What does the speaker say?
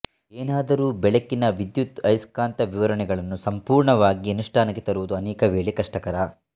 ಏನಾದರೂ ಬೆಳಕಿನ ವಿದ್ಯುದಯಸ್ಕಾಂತ ವಿವರಣೆಗಳನ್ನು ಸಂಪೂರ್ಣವಾಗಿ ಅನುಷ್ಠಾನಕ್ಕೆ ತರುವುದು ಅನೇಕ ವೇಳೆ ಕಷ್ಟಕರ